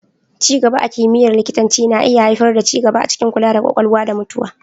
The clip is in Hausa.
Ci gaba a kimiyyar likitanci na iya haifar da ci gaba a cikin kula da Ƙwakwalwa da mutuwa.